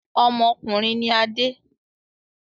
Ọmọkùnrin ni Adé.